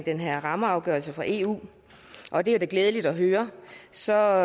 den her rammeafgørelse fra eu og det er da glædeligt at høre så